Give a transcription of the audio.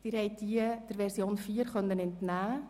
Sie konnten diese der Version 4 entnehmen.